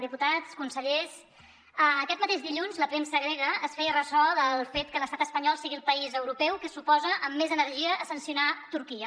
diputats consellers aquest mateix dilluns la premsa grega es feia ressò del fet que l’estat espanyol sigui el país europeu que s’oposa amb més energia a sancionar turquia